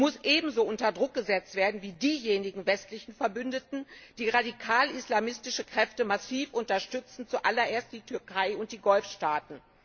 Er muss ebenso unter Druck gesetzt werden wie diejenigen westlichen Verbündeten, die radikal islamistische Kräfte massiv unterstützen zuallererst die Türkei und die Golfstaaten.